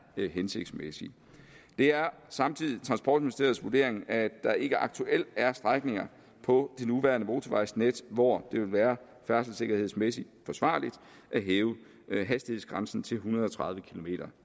hensigtsmæssige det er samtidig transportministeriets vurdering at der ikke aktuelt er strækninger på det nuværende motorvejsnet hvor det vil være færdselssikkerhedsmæssigt forsvarligt at hæve hastighedsgrænsen til en hundrede og tredive kilometer